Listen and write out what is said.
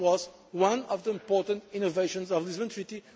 possible. This was one of the important innovations of the Lisbon